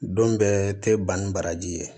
Don bɛɛ tɛ ban ni baraji ye